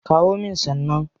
Kawo min san nan.